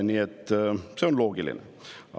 Nii et see on loogiline.